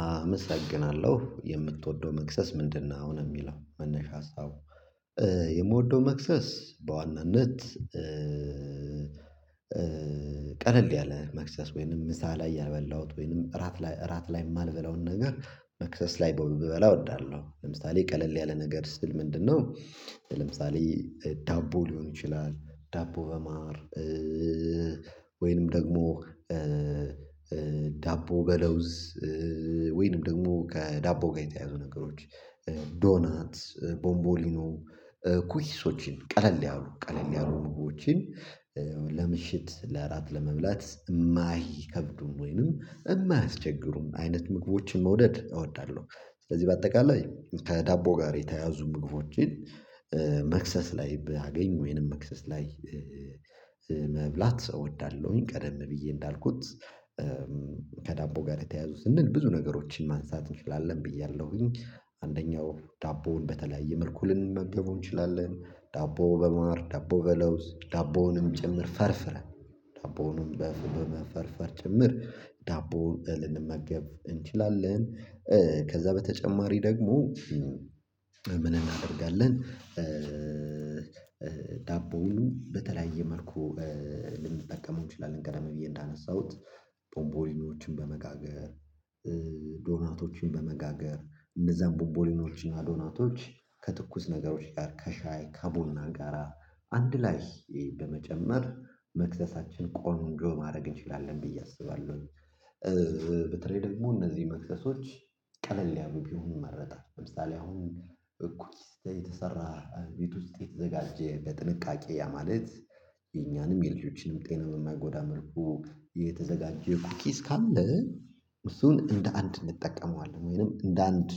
አመሰግናለሁ የምትወደው መክሰስ ምንድነው ነው የሚለው መነሻ ሀሳቡ የምወደው መክሰስ በዋናነት ቀለል ያለ መክሰስ ወይንም ምሳ ላይ ያበላሁት ወይንም እራት ላይ እራት ላይ የማልበላውን ነገር መክሰስ ላይ ብበላ እወዳለሁ። ለምሳሌ ቀለል ያለ ነገር ስል ምንድነው ለምሳሌ ዳቦ ሊሆን ይችላል ዳቦ በማር ወይንም ደግሞ ዳቦ በለውዝ ወይንም ደግሞ ከዳቦ ጋር የተያዙ ነገሮች ዶናት ቦምቦሊኖ ኩሂሶችን ቀለል ያሉ ቀለል ያሉ ኑጎችን ለምሽት ለእራት ለመብላት የማይከብዱን ወይንም የማያስቸግሩን አይነት ምግቦችን መውደድ እወዳለሁ። ስለዚህ በአጠቃላይ ከዳቦ ጋር የተያያዙ ምግቦችን መክሰስ ላይ ባገኝ ወይንም መክሰስ ላይ መብላት እወዳለሁኝ ቀደም ብዬ እንዳልኩት ከዳቦ ጋር የተያያዙት ስንል ብዙ ነገሮችን ማንሳት እንችላለን ብያለሁኝ አንደኛው ዳቦውን በተለያየ መልኩ ልንመገቡ እንችላለን ዳቦ በመምህር ዳቦ በለውዝ ዳቦውንም ጭምር ፈርፍረን ዳቦውንም በመፈርፈር ጭምር ዳቦ ልንመገብ እንችላለን። ከዛ በተጨማሪ ደግሞ ምን እናደርጋለን ዳቦው በተለያየ መልኩ ልንጠቀመው እንችላለን ገደም ብዬ እንዳነሳሁት ቦምቦሊኖችን በመጋገር ዶናቶችን በመጋገር እንደዛን ቦቦሊኖችን እና ዶናቶች ከትኩስ ነገሮች ጋር ከሻይ ከቡና ጋራ አንድ ላይ በመጨመር መክዘሳችን ቆንጆ ማድረግ እንችላለን ብዬ አስባለሁኝ። በተለይ ደግሞ እነዚህ መክፈሶች ቀለል ያሉ ቢሆኑ ይመረጣል። ለምሳሌ አሁን እኩል የተሰራ ቤት ውስጥ የተዘጋጀ በጥንቃቄ ያ ማለት የኛንም የልጆችንም ጤና በማያጎዳ መልኩ የተዘጋጀ ኩኪስ ካለ እሱን እንደ አንድ እንጠቀመዋለን ወይንም እንደ አንድ